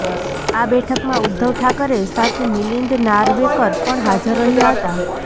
આ બેઠકમાં ઉદ્ધવ ઠાકરે સાથે મિલિંદ નાર્વેકર પણ હાજર રહ્યાં હતાં